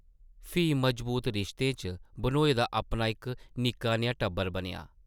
फ्ही मजबूत रिश्तें च बन्होए दा अपना इक निक्का नेहा टब्बर बनेआ ।